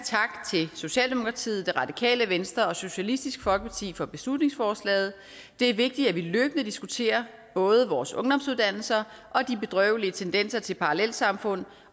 til socialdemokratiet det radikale venstre og socialistisk folkeparti for beslutningsforslaget det er vigtigt at vi løbende diskuterer både vores ungdomsuddannelser og de bedrøvelige tendenser til parallelsamfund